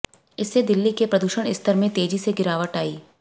इससे दिल्ली के प्रदूषण स्तर में तेजी से गिरावट आई